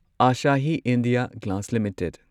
Asahi India Glass limited